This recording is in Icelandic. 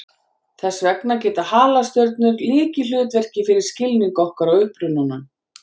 Þess vegna gegna halastjörnur lykilhlutverki fyrir skilning okkar á upprunanum.